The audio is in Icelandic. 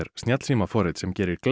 snjallsímaforrit sem gerir